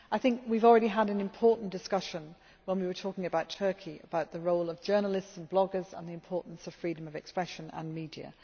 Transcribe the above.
I think we have already had an important discussion when we were talking about Turkey about the role of journalists and bloggers and the importance of freedom of expression and media.